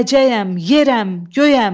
Gələcəyəm, yerəm, göyəm.